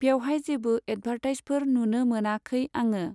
बेवहाय जेबो advertise for नुनो मोनाखै आङो।